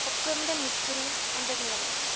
opkomende mikro ondernemings